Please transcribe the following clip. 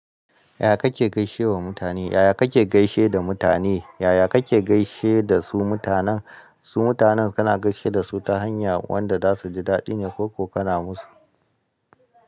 Yaya kake gaishe wa mutane? Yaya kake gaishe da mutane? Yaya kake gaishe da su mutanen? Su mutanen kana gaishe da su ta hanya wanda za su ji daɗi ne ko ko kana musu?